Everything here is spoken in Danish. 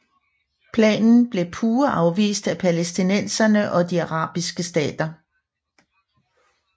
Planen blev pure afvist af palæstinenserne og de arabiske stater